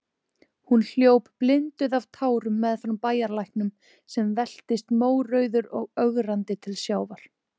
Hún hljóp blinduð af tárum meðfram bæjarlæknum, sem veltist mórauður og ögrandi til sjávar.